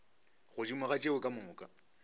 godimo ga tšeo ka moka